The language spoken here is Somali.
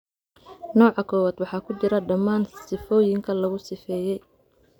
Nooca kowaad waxaa ku jira dhammaan sifooyinka lagu sifeeyay.